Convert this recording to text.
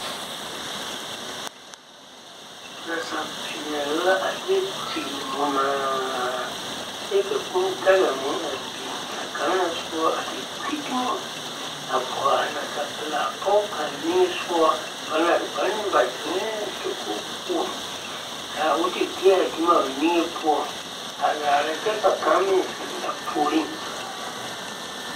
Nasapeele la a deɛ tiŋ nyimaa kyɛ ka kuu daŋa a meŋ biŋ ka kang na soba a te piŋ no a kɔge a nasapilaa pɔge kang niŋe sɔŋe bane ba ziŋee dakoge poɔ ka o te gbi a o dumo a o niŋe poɔ a laare kyɛ ka kang meŋ zing a puure